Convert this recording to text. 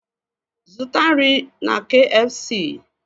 Zụta nri na kfc!